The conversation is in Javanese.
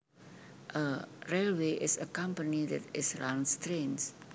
A railway is a company that is runs trains